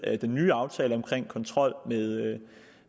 den nye aftale om kontrol